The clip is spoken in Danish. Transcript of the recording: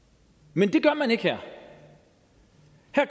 men det gør man ikke her